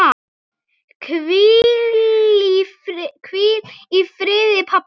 Hvíl í friði, pabbi.